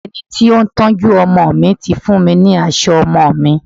Ẹni tí ó ń tọ́jú ọmọ mi ti fún mi ní aṣọ ọmọ mi.